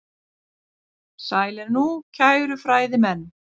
Sælir nú, kæru fræðimenn.